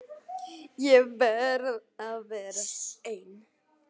Ég verð að vera ein.